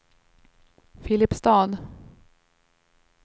Filipstad